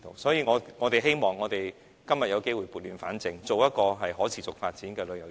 所以，希望今天有機會撥亂反正，推動一個可持續發展的旅遊業。